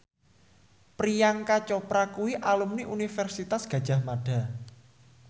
Priyanka Chopra kuwi alumni Universitas Gadjah Mada